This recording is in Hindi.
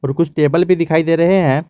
कुछ टेबल भी दिखाई दे रहे हैं।